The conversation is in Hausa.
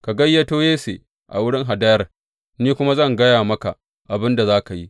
Ka gayyato Yesse a wurin hadayar, ni kuma zan gaya maka abin da za ka yi.